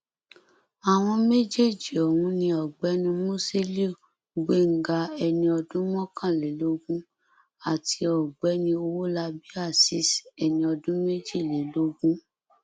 àwọn méjèèjì ọhún ni ọgbẹni musiliu gbéńgá ẹni ọdún mọkànlélógún àti ọgbẹni owólabí azeez ẹni ọdún méjìlélógún